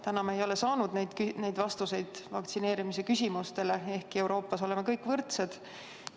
Täna me ei ole saanud vastuseid vaktsineerimise küsimustele, ehkki Euroopas oleme kõik võrdsed.